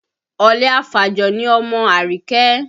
Ọ̀lẹ afàjò ni ọmọ Àríkẹ́